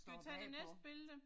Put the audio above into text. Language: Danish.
Skal vi tage det næste billede?